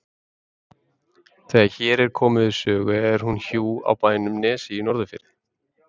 Þegar hér er komið sögu er hún hjú á bænum Nesi í Norðurfirði.